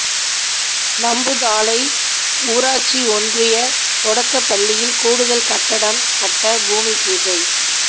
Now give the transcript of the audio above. நம்புதாளை ஊராட்சி ஒன்றிய தொடக்கப் பள்ளியில் கூடுதல் கட்டடம் கட்ட பூமி பூஜை